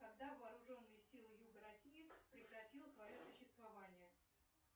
когда вооруженные силы юга россии прекратило свое существование